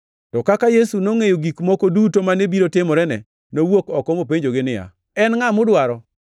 To kaka Yesu nongʼeyo gik moko duto mane biro timorene, nowuok oko mopenjogi niya, “En ngʼa mudwaro?”